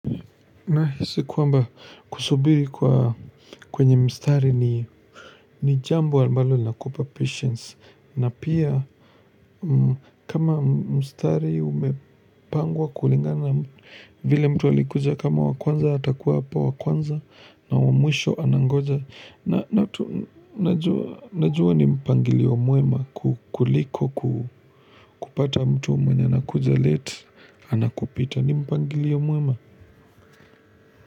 Na hisi kwamba kusubiri kwa kwenye mstari ni jambo ambalo linakupa patience na pia kama mstari umepangwa kulingana vile mtu alikuja kama wakwanza hatakuwa hapa wakwanza na wamwisho anangoja. Na tu najua ni mpangilio muema kukuliko kupata mtu mwenye na kuja late ana kupita ni mpangilio muema.